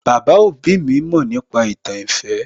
Baba òbí mi mọ̀ nípa ìtàn ìfẹ́